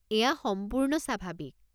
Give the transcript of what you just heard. এইয়া সম্পূৰ্ণ স্বাভাৱিক।